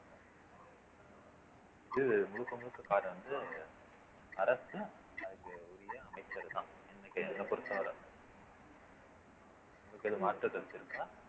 இது முழுக்க முழுக்க அரசும் அதுக்கு உரிய அமைச்சரும் தான் என்னைப் பொறுத்தவரை உங்களுக்கு எதும் மாற்று கருத்து இருக்கா